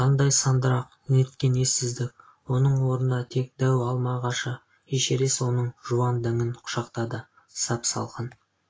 қандай сандырақ неткен ессіздік оның орнында тек дәу алма ағашы эшерест оның жуан діңін құшақтады сап-салқын